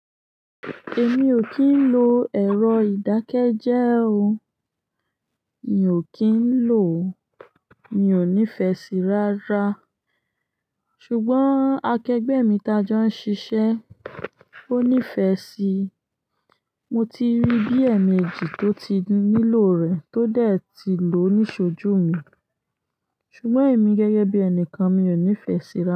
Èmi ò kí ń lo ẹ̀rọ ìdákẹ́jẹ́e o. Mi ò kí ń lò ó, mi ò nífẹsí rárá. Ṣùgbọ́n akẹgbẹ́ mi ti á jọ́ ń ṣiṣẹ́, ó nífẹ́ sí i. Mo ti rí bí ẹ̀ẹ̀mẹjì tó ti nílò rẹ̀ tó dẹ̀ ti lò ní iṣojú mi. Ṣùgbọ́n èmi gẹ́gẹ́ bí ẹnìkan mi ò nífẹsí rárá.